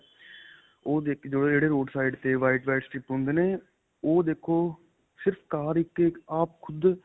ਉਹ ਦੇਖੋ ਜਿਹੜੇ-ਜਿਹੜੇ roadside 'ਤੇ white, white strip ਹੁੰਦੇ ਨੇ ਉਹ ਦੇਖੋ ਸਿਰਫ ਕਾਰ ਇੱਕ ਆਪ ਖੁੱਦ .